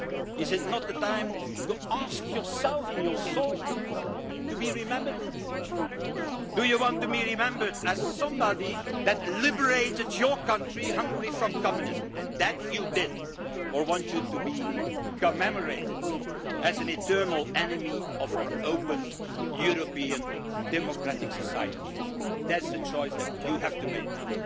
Is it not the time to ask yourself in your soul how you wish to be remembered in the future? Do you want to be remembered as somebody who liberated your country, Hungary, from communism and you did that or do you want to be commemorated as an eternal enemy of our open European democratic society? That is the choice that you have to make now.